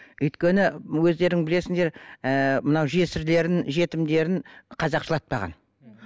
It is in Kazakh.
өйткені өздерің білесіңдер ыыы мынау жесірлерін жетімдерін қазақ жылатпаған